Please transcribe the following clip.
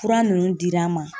Fura ninnu dir'an ma.